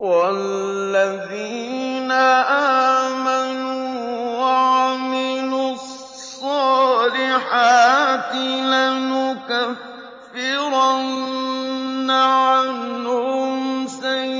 وَالَّذِينَ آمَنُوا وَعَمِلُوا الصَّالِحَاتِ لَنُكَفِّرَنَّ عَنْهُمْ سَيِّئَاتِهِمْ